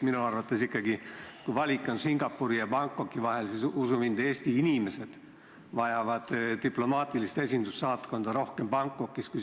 Minu arvates ikkagi, kui valik on Singapuri ja Bangkoki vahel, siis usu mind, Eesti inimesed vajavad diplomaatilist esindust, saatkonda rohkem Bangkokis.